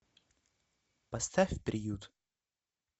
поставь приют